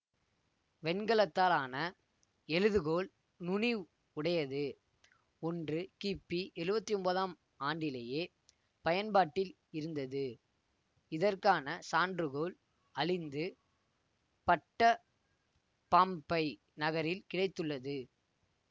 வெண்கலத்தால் ஆன எழுதுகோல் நுனி உடையது ஒன்று கிபி எழுவத்தி ஒன்பதாம் ஆண்டிலேயே பயன்பாட்டில் இருந்தது இதற்கான சான்றுகோள் அழிந்து பட்ட பாம்ப்பை நகரில் கிடைத்துள்ளது